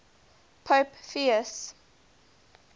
pope pius